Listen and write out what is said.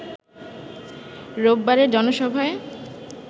রোববারের জনসভায়